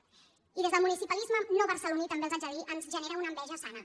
i des del municipalisme no barceloní també els ho haig de dir ens genera una enveja sana